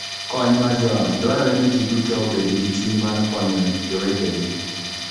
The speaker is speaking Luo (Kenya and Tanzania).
Kony mar Joot: Dwarore ni ji duto obed gi chuny mar konyo jowetegi.